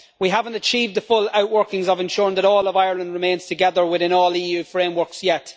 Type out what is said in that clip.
we have not achieved the full outworkings of ensuring that all of Ireland remains together within all the EU frameworks yet.